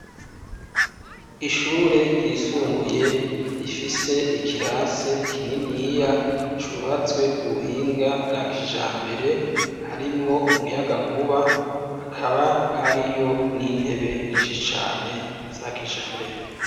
Ishure ryisumbuye rifise ikirasi kinini iya cubatswe ku buhinga bwa kijambere harimwo umuyaga nkuba akaba hariyo n'intebe nyinshi cane za kijambere.